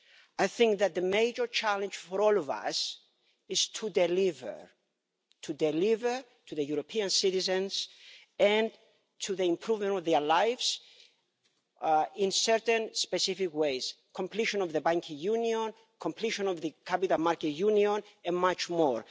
I think that the major challenge for all of us is to deliver to deliver to the European citizens and to improve their lives in certain specific ways completion of the Banking Union, completion of the Capital Markets Union, and much more.